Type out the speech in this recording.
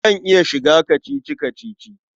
Zan iya shiga kacici-kacici.